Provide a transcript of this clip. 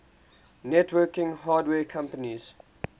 networking hardware companies